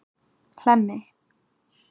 Hlemmi